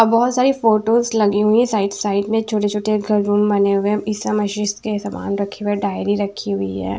बहुत सारी फोटोस लगी हुई है साइड साइड में छोटे-छोटे घर रूम बने हुए ईशा मशीष के सामान रखी हुए डायरी रखी हुई है।